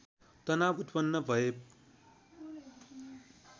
तनाव उत्पन्न भए